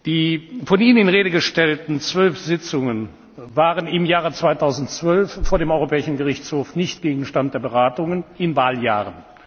Die von Ihnen in Rede gestellten zwölf Sitzungen waren im Jahr 2012 vor dem Europäischen Gerichtshof nicht Gegenstand der Beratungen in Wahljahren.